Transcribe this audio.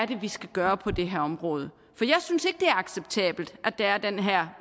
det er vi skal gøre på det her område jeg synes ikke det er acceptabelt at der er den her